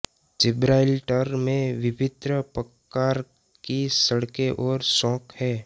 Gibraltar में विभिन्न प्रकार की सड़कें और चौक हैं